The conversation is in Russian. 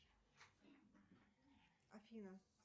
афина